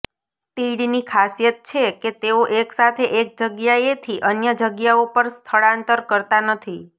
તીડની ખાસીયત છેકે તેઓ એકસાથે એક જગ્યાએથી અન્ય જગ્યાઓ પર સ્થળાંતર કરતા નથી